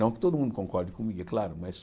Não que todo mundo concorde comigo, é claro, mas...